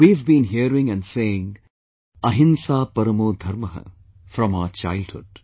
We have been hearing and saying Ahimsa Parmo Dharmah from our childhood